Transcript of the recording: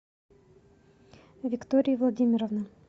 виктории владимировны